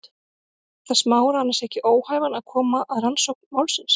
Gerir það Smára annars ekki óhæfan til að koma að rannsókn málsins?